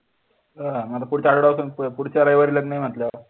हो आता पुढच्या आठवड्यात पुढच्या रविवारी लग्न आहे म्हटल्यावर